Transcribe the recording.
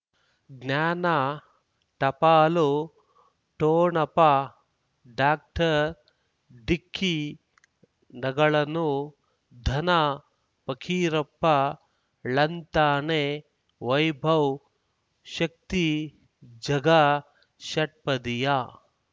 ಜ್ಞಾನ ಟಪಾಲು ಠೋಣಪ ಡಾಕ್ಟರ್ ಢಿಕ್ಕಿ ಣಗಳನು ಧನ ಫಕೀರಪ್ಪ ಳಂತಾನೆ ವೈಭವ್ ಶಕ್ತಿ ಝಗಾ ಷಟ್ಪದಿಯ